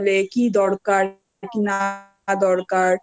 কোন অসুবিধে হচ্ছে কিনা অসুবিধা হলে কি দরকার কি না